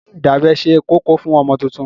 Ṣé ìdábẹ́ ṣe kókó fún ọmọ tuntun?